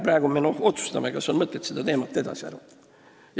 Praegu me otsustame, kas on mõtet seda teemat edasi arendada.